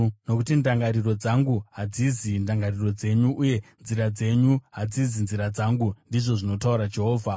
“Nokuti ndangariro dzangu hadzizi ndangariro dzenyu, uye nzira dzenyu hadzizi nzira dzangu,” ndizvo zvinotaura Jehovha.